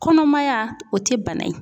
Kɔnɔmaya o tɛ bana ye.